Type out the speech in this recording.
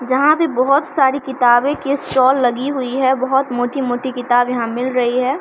जहाँ पे बहुत सारी किताबे की स्टोल लगी हुई है बहुत मोटी-मोटी किताब यहाँ मिल रही है।